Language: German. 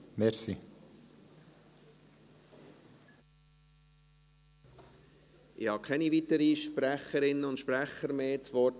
Ich habe keine weiteren Sprecherinnen und Sprecher mehr auf der Liste.